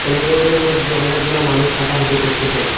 কলিডোরের মধ্যে অনেকগুলা মানুষ হাঁটাহাঁটি করতেসেন।